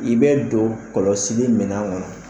I bɛ don kɔlɔsili minɛn kɔnɔ